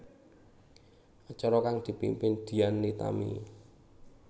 Acara kang dipimpin Dian Nitami